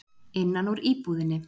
Innan úr íbúðinni.